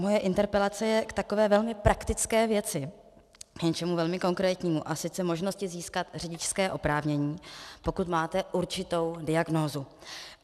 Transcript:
Moje interpelace je k takové velmi praktické věci, k něčemu velmi konkrétnímu, a sice možnosti získat řidičské oprávnění, pokud máte určitou diagnózu.